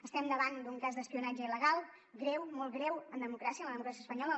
estem davant d’un cas d’espionatge il·legal greu molt greu en democràcia en la democràcia espanyola